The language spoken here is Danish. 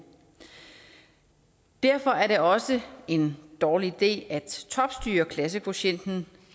derfor er det også en dårlig idé at topstyre klassekvotienten